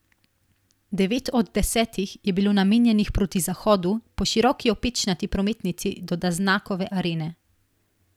Devet od desetih je bilo namenjenih proti zahodu, po široki opečnati prometnici do Daznakove arene.